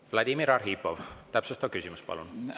Vladimir Arhipov, täpsustav küsimus, palun!